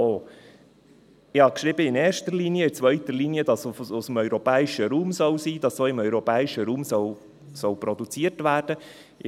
Ich habe geschrieben «in erster Linie», in zweiter Linie, dass es aus dem europäischen Raum sein soll, dass auch im europäischen Raum produziert werden soll.